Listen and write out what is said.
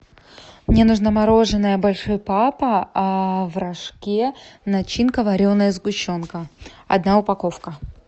мне нужно мороженое большой папа в рожке начинка вареная сгущенка одна упаковка